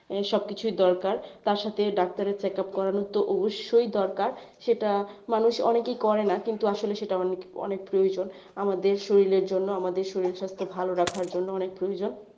এসব কিছুই দরকার তার সাথে ডাক্তারের check up করানো তো অবশ্যই দরকার সেটা মানুষ অনেকেই করেনা কিন্তু আসলে সেটা অনেক অনেক প্রয়োজন আমাদের শরীরের জন্য আমাদের শরীর স্বাস্থ্য ভালো রাখার জন্য অনেক প্রয়োজন.